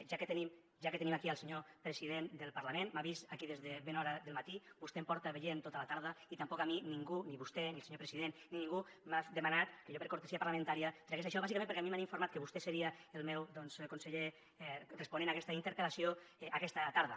ja que tenim aquí el senyor president del parlament m’ha vist aquí des de ben d’hora del matí vostè em porta veient tota la tarda i tampoc a mi ningú ni vostè i el senyor president m’ha demanat que jo per cortesia parlamentària tragués això bàsicament perquè a mi m’han informat que vostè seria el meu conseller responent aquesta interpel·lació aquesta tarda